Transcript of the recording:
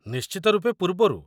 ନିଶ୍ଚିତ ରୂପେ ପୂର୍ବରୁ।